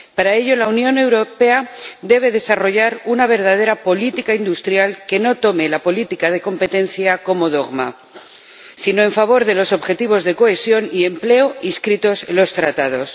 Para ello la Unión Europea debe desarrollar una verdadera política industrial que no tome la política de competencia como dogma sino que la aplique en favor de los objetivos de cohesión y empleo inscritos en los Tratados.